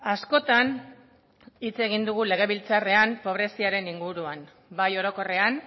askotan hitz egin dugu legebiltzarrean pobreziaren inguruan bai orokorrean